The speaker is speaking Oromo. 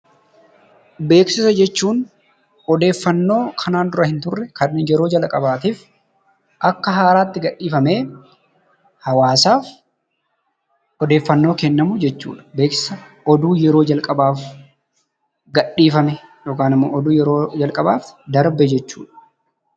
Beeksisa jechuun odeeffannoo kanaan dura hinturre kan yeroo jalqabaatiif akka haaraatti gadhiifamee hawaasaaf odeeffannoo kennamu jechuudha. Beeksisa oduu yeroo jalqabaaf gadhiifame yookanimmoo oduu yeroo jalqabaaf darbe jechuudha.